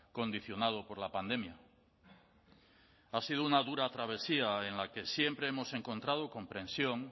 condicionado por la pandemia ha sido una dura travesía en la que siempre hemos encontrado comprensión